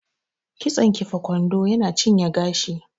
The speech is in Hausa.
Kitson kifa kwando yana cinye gashi